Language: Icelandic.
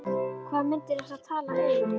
Hvaða myndir ertu að tala um?